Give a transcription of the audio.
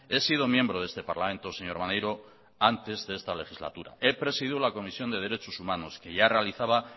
he sido miembro de este parlamento señor maneiro antes de esta legislatura he presidido la comisión de derechos humanos que ya realizaba